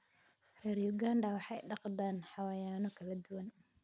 Reer Uganda waxay dhaqdaan xayawaanno kala duwan.